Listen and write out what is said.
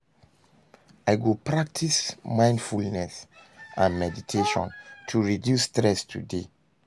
I go practice mindfulness and meditation to reduce stress today.